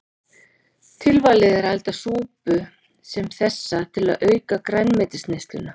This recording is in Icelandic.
Tilvalið er að elda súpu sem þessa til að auka grænmetisneysluna.